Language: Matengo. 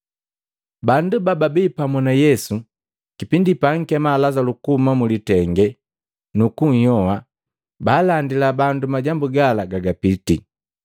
Bandu bababi pamu na Yesu kipindi paankema Lazalu kuhuma mulitenge, nukunhyoha, baalandila bandu majambu gala gagapiti.